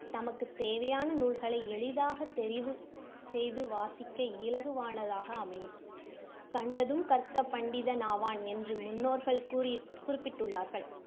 தமக்கு தேவையான நூல்களை எளிதாக தெரிவு செய்து வாசிக்க இலகுவானதாக அமையும். கண்டதும் கற்க பண்டிதன் ஆவான் என்று முன்னோர்கள் கூறி~ குறிப்பிட்டுள்ளார்கள்.